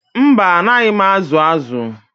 Mba, anaghị m azụ azụ